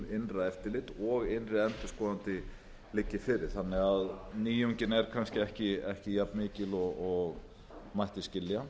innra eftirlit og innri endurskoðandi liggi fyrir þannig að nýjungin er kannski ekki jafnmikil og mætti skilja